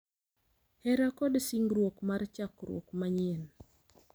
Hera, kod singruok mar chakruok manyien.